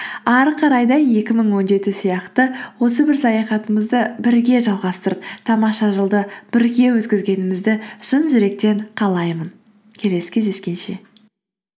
әрі қарай да екі мың он жеті сияқты осы бір саяхатымызды бірге жалғастырып тамаша жылды бірге өткізгенімізді шын жүректен қалаймын келесі кездескенше